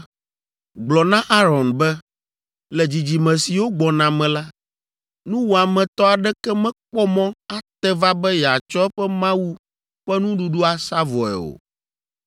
“Gblɔ na Aron be, ‘Le dzidzime siwo gbɔna me la, nuwɔametɔ aɖeke mekpɔ mɔ ate va be yeatsɔ eƒe Mawu ƒe nuɖuɖu asa vɔ̃e o.